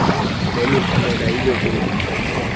namiphumela iyiyo kwingulo